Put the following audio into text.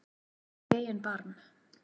Líttu í eigin barm